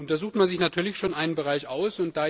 Da sucht man sich natürlich schon einen Bereich aus.